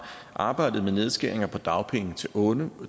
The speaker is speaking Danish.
arbejdede med nedskæringer på dagpenge til unge